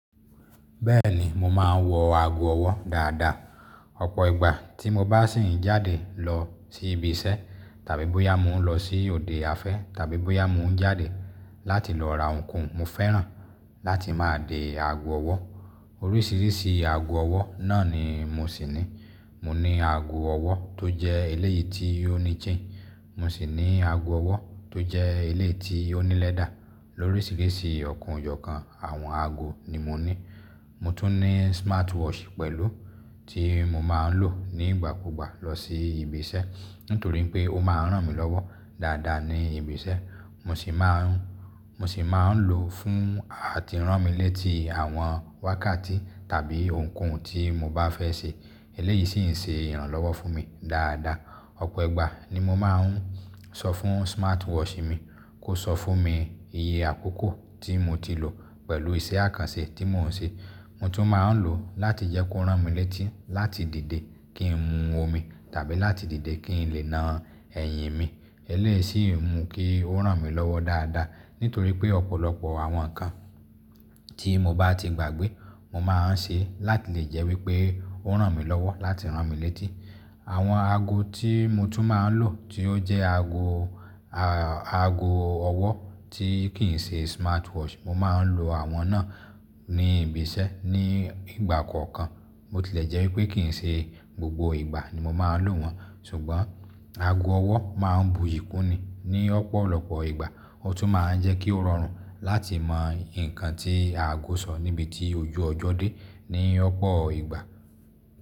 Bẹ́ẹ̀ni, mo máa ń wọ ago ọwọ́ dáadáa. Ọ̀pọ̀ ìgbà tí mo bá sì ń jáde lọ sí ibi iṣẹ́ tàbí bóyá mo ń lọ sí òde afẹ́ tàbí bóyá mo ń jáde láti lọ ra ohun koun mo fẹ́ràn láti máa dé ago ọwọ́. Oríṣìíríṣìí ago ọwọ́ náà ni mo sì ní. Mo ní ago ọwọ́ tó jẹ́ eléyìí tí ó ní chain, mo sì ní ago ọwọ́ tó jẹ́ eléyìí tí ó ní lẹ́dà. Lóríṣìíríṣìí ọ̀kan ọ̀jọ̀kan àwọn ago ni mo ní. Mo tún ní smartwatch pẹ̀lú tí mo máa ń lò nígbà kúgbà lọ sí ibi iṣẹ́ nítorí pé ó máa ń ràn mí lọ́wọ́ dáadáa ní ibi iṣẹ́. Mo sì máa ń, mo sì máa ń lò fún àti rán mi létí àwọn wákàtí tàbí ohun koun tí mo bá fẹ́ ṣe. Eléyìí sì ń ṣe ìrànlọ́wọ́ fún mi dáadáa. Ọ̀pọ̀ ìgbà ni mo máa ń sọ fún smartwatch mi kó sọ fún mi iye àkókò tí mo ti lò pẹ̀lú iṣẹ́ àkànṣe tí mò ń ṣe. Mo tún máa ń lò láti jẹ́ kó rán mi létí láti dìde kí n mu omi tàbí láti dìde kí n lè na ẹyin mi. Eléyìí sì ń mú kí ó ràn mí lọ́wọ́ dáadáa. Nítorí pé ọ̀pọ̀lọpọ̀ àwọn nǹkan tí mo bá ti gbàgbé mo máa ń ṣe láti lè jẹ́ wípé ó rán mi lọ́wọ́ láti rán mi létí. Àwọn ago tí mo tún máa ń lò tí ó jẹ́ ago, a-ago ọwọ́ tí kì ń ṣe smartwatch, mo máa ń lo àwọn náà ní ibi iṣẹ́ ní ìgbà kọ̀ọ̀kan. Bo tilẹ̀ jẹ́ wípé kì ń ṣe gbogbo ìgbà ni mo máa ń lò wọ́n ṣùgbọ́n ago ọwọ́ máa ń buyì kúni ní ọ̀pọ̀lọpọ̀ ìgbà. Ó tún máa ń jẹ́ kí ó rọrùn láti mọ nǹkan tí ago sọ níbi tí ojú ọjọ́ dé ní ọ̀pọ̀ ìgbà.